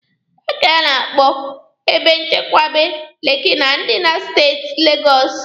Paaki a na-akpọ Ebe Nchekwaba Lekki dị na Steeti Legọsụ